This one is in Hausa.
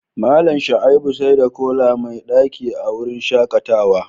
Mallam Shaibu saida kola mai daci a wurin shakatawa